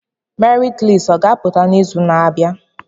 Merit listi a ga-apụta n'izu na-abịa?